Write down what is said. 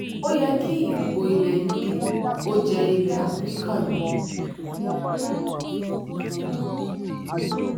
ó yẹ kí ìdìbò ilẹ̀ uk ó jẹ́ ilẹ̀ áfíríkà lógún